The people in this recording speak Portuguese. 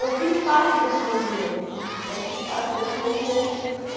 Eu fiz parte desse movimento, né, fiz parte desse movimento